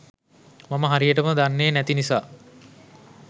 මම හරියටම දන්නේ නැති නිසා.